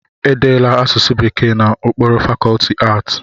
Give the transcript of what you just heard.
E deela asụsụ Bekee n'okpuru fakọlti aatị